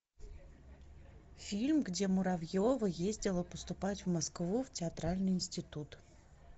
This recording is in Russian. фильм где муравьева ездила поступать в москву в театральный институт